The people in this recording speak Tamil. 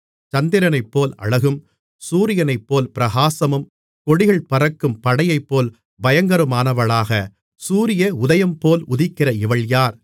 சந்திரனைப்போல் அழகும் சூரியனைப்போல் பிரகாசமும் கொடிகள் பறக்கும் படையைப்போல் பயங்கரமானவளாக சூரிய உதயம்போல் உதிக்கிற இவள் யார்